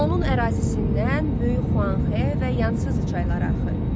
Onun ərazisindən böyük Xuanxe və Yansızı çayları axır.